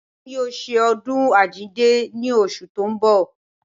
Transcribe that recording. Wọ́n yóò ṣe ọdún àjíǹde ní oṣù tó ń bọ̀